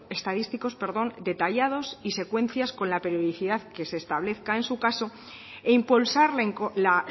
estadísticos detallados y secuencias con la periodicidad que se establezca en su caso e impulsar la